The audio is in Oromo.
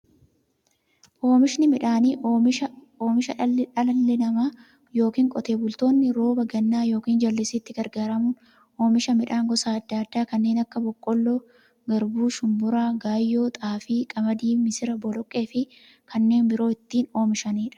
Oomishni midhaanii, oomisha dhalli namaa yookiin Qotee bultoonni roba gannaa yookiin jallisiitti gargaaramuun oomisha midhaan gosa adda addaa kanneen akka; boqqolloo, garbuu, shumburaa, gaayyoo, xaafii, qamadii, misira, boloqqeefi kanneen biroo itti oomishamiidha.